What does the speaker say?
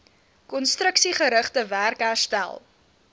konstruksiegerigte werk herstel